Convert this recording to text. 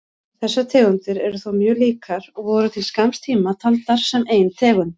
Þessar tegundir eru þó mjög líkar og voru til skamms tíma taldar sem ein tegund.